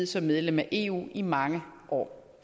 som medlem af eu i mange år